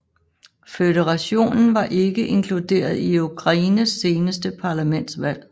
Føderationen var ikke inkluderet i Ukraines seneste parlamentsvalg